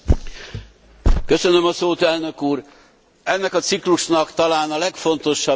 Ennek a ciklusnak talán a legfontosabb jelentése van a kezünkben.